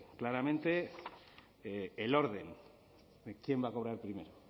claramente el orden quién va a cobrar primero